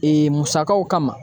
Ee musakaw kama